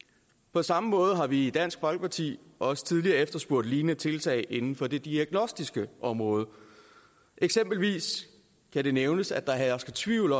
på samme måde har vi i dansk folkeparti også tidligere efterspurgt lignende tiltag inden for det diagnostiske område eksempelvis kan det nævnes at der hersker tvivl